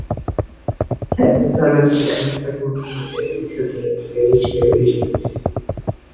Kennitölum til einstaklinga er úthlutað af Þjóðskrá Íslands.